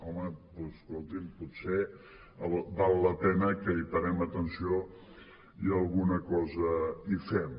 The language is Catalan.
home doncs escolti’m potser val la pena que hi parem atenció i alguna cosa hi fem